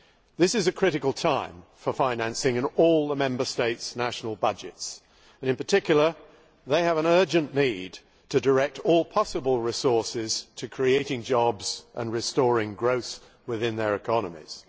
This is a critical time for financing in all the Member States' national budgets, and in particular they have an urgent need to direct all possible resources to creating jobs and restoring growth within their economies.